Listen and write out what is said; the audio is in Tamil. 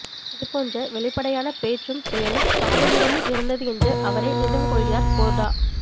இது போன்றவெளிப்படையான பேச்சும் செயலும் சாபுவிடமும் இருந்தது என்று அவரை நினைவுகொள்கிறார் கோர்டா